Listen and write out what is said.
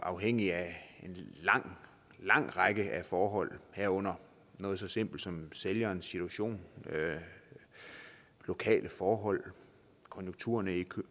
afhængig af lang række forhold herunder noget så simpelt som sælgerens situation lokale forhold konjunkturerne i